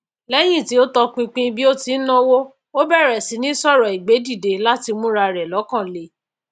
léyín tí ó tọpinpin bí ó tí náwó ó bèrè síní sòrò ìgbédìde láti mú ra rè lókan le